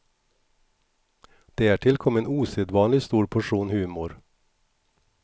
Därtill kom en osedvanligt stor portion humor.